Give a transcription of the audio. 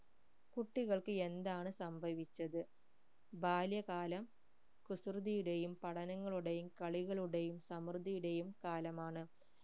കുട്ടികൾക്ക് എന്താണ് സംഭവിച്ചത് ബാല്യകാലം കുസൃതിയുടെയും പഠനങ്ങളുടെയും കളികളുടെയും സമൃദ്ധിയുടെയും കാലമാണ്